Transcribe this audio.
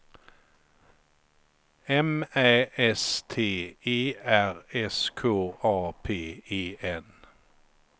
M Ä S T E R S K A P E N